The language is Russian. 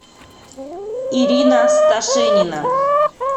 ирина сташенина